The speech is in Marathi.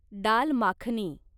दाल माखनी